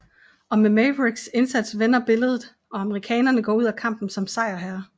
Og med Mavericks indsats vender billedet og amerikanerne går ud af kampen som sejrherre